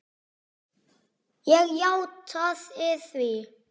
Ég játaði því.